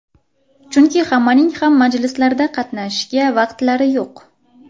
Chunki hammaning ham majlislarda qatnashishga vaqtlari yo‘q.